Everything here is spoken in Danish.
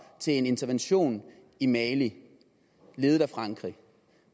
til en intervention i mali ledet af frankrig